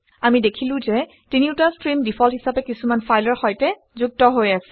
আমি দেখিলো যে তিনিওটা ষ্ট্ৰীম ডিফল্ট হিচাপে কিছুমান ফাইলৰ সৈতে যুক্ত হৈ আছে